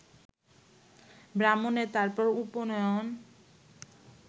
ব্রাহ্মণের তার পর উপনয়ন